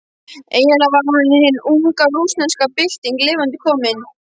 Eiginlega var hann hin unga rússneska bylting lifandi komin.